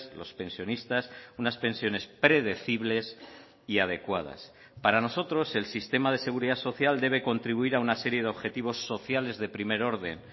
los pensionistas unas pensiones predecibles y adecuadas para nosotros el sistema de seguridad social debe contribuir a una serie de objetivos sociales de primer orden